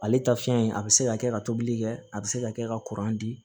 Ale ta fiɲɛ in a bɛ se ka kɛ ka tobili kɛ a bɛ se ka kɛ ka di